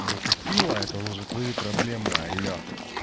затупила это уже твои проблемы алло